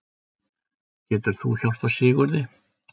Getur þú hjálpað Sigurði?